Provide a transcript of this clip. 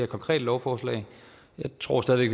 konkrete lovforslag jeg tror stadig